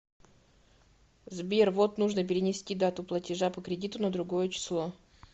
сбер вот нужно перенести дату платежа по кредиту на другое число